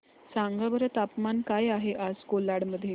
सांगा बरं तापमान काय आहे आज कोलाड मध्ये